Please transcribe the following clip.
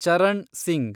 Charan Singh